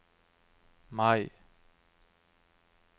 Mai